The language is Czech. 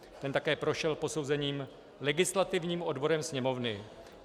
Ten také prošel posouzením legislativním odborem Sněmovny.